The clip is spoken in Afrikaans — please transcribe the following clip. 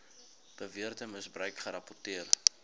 beweerde misbruik gerapporteer